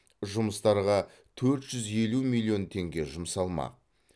жұмыстарға төрт жүз елу миллион теңге жұмсалмақ